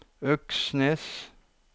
Øksnes